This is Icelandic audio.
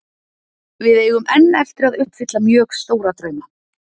Við eigum enn eftir að uppfylla mjög stóra drauma.